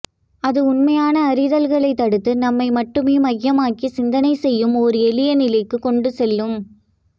அது உண்மையான அறிதல்களைத் தடுத்து நம்மை மட்டுமே மையமாக்கிச் சிந்தனைசெய்யும் ஓர் எளிய நிலைக்குக் கொண்டுசெல்லும்